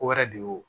Ko wɛrɛ de y'o